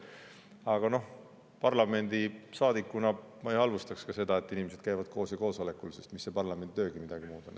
Aga parlamendisaadikuna ma ei halvustaks seda, et inimesed käivad koos ja koosolekutel, sest mis see parlamenditöögi midagi muud on.